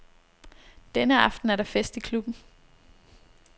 Denne aften er der fest i klubben.